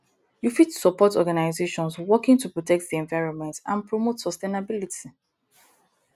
you fit suport organizations working to protect di environment and promote sustainability